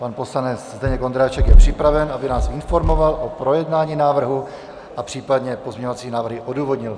Pan poslanec Zdeněk Ondráček je připraven, aby nás informoval o projednání návrhu a případně pozměňovací návrhy odůvodnil.